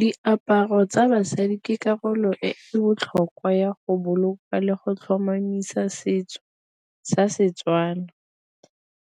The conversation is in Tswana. Diaparo tsa basadi ke karolo e botlhokwa ya go boloka le go tlhomamisa setso sa Setswana,